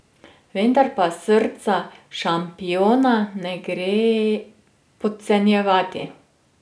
Vendar pa srca šampiona ne gre podcenjevati.